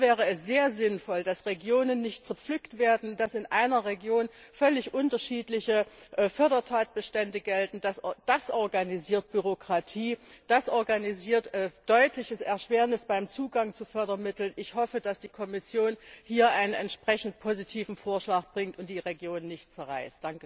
Hier wäre es sehr sinnvoll, dass Regionen nicht zerpflückt werden, dass in einer Region nicht völlig unterschiedliche Fördertatbestände gelten das organisiert Bürokratie, das organisiert eine deutliche Erschwernis beim Zugang zu Fördermitteln. Ich hoffe, dass die Kommission hier einen entsprechend positiven Vorschlag bringt und die Regionen nicht zerreißt.